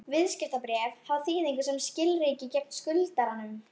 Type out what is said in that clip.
Viðskiptabréf hafa þýðingu sem skilríki gegn skuldaranum.